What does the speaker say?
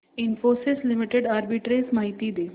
Infosys limited arbitrage माहिती दे